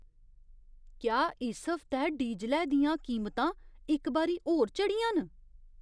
क्या इस हफ्तै डीजलै दियां कीमतां इक बारी होर चढ़ियां न?